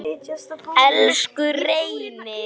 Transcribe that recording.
Elsku Reynir.